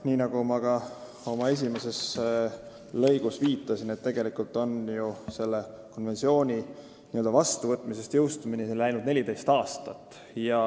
Nii nagu ma ka oma esimeses lõigus viitasin, tegelikult on selle konventsiooni vastuvõtmisest jõustumiseni läinud 14 aastat.